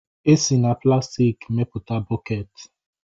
E si na plastiki mepụta bọkeeti